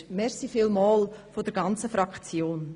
Dafür vielen Dank vonseiten der ganzen Fraktion!